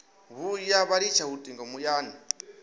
vhuya vha litsha lutingo muyani